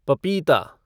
पपीता